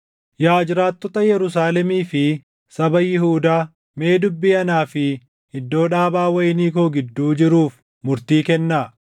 “Yaa jiraattota Yerusaalemii fi saba Yihuudaa, mee dubbii anaa fi iddoo dhaabaa wayinii koo // gidduu jiruuf murtii kennaa.